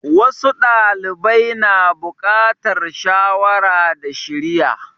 Wasu ɗalibai na bukatar shawara da shiriya.